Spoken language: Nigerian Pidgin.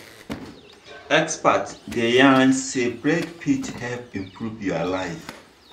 experts dey yarn say break fit help improve your life.